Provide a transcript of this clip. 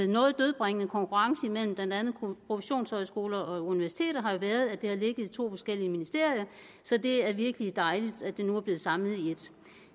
noget dødbringende konkurrence imellem blandt andet professionshøjskoler og universiteter har jo været at det har ligget i to forskellige ministerier så det er virkelig dejligt at det nu er blevet samlet i ét